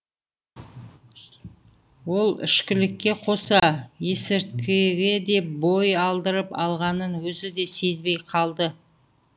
ол ішкілікке қоса есірткіге де бой алдырып алғанын өзі де сезбей қалды